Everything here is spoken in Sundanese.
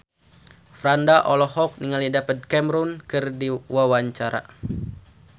Franda olohok ningali David Cameron keur diwawancara